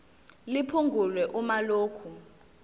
liphungulwe uma lokhu